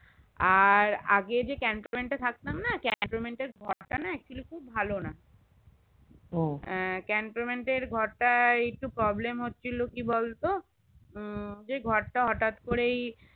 আর আগে যে cantonment থাকতাম না cantonment ঘর তা actually খুব ভালো না কন্ট্রোমেন্টের ঘর তাই একটু প্রব্লেম হচ্ছিলো কি বলতো যে ঘর তা হটাৎ করেই